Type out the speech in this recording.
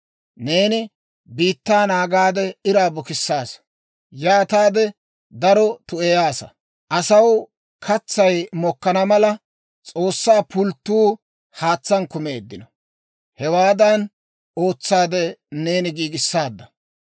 Neeni biittaa naagaade iraa bukissaasa; yaataade daro tu'eyaasa. Asaw katsay mokkana mala, S'oossaa pulttotuu haatsaan kumeeddino; hewaadan ootsaade neeni giigissaadda.